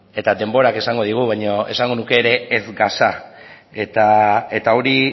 eta denborak esango digu baina esango nuke ere ez gasa eta hori